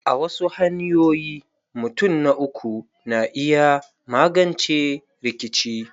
A wasu hanyoyin, mutun na uku na iya magance rikice.